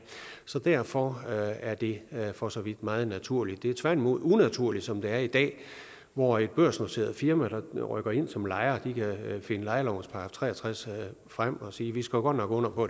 så derfor er det for så vidt meget naturligt det er tværtimod unaturligt som det er i dag hvor et børsnoteret firma der rykker ind som lejer kan finde lejelovens § tre og tres frem og sige vi skrev godt nok under på